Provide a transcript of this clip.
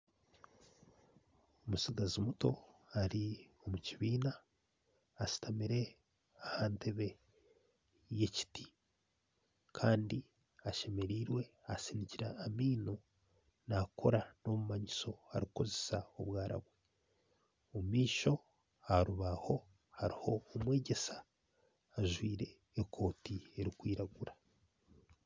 Omutsigazi muto Ari omukibiina ashutamire ahantebbe yekiti Kandi ashemereirwe asinikire amaino nakora obumanyiso nakoresa obwara bwe omumaisho aharubaho hariho omwegyesa ajwaire ekooti erikwiragura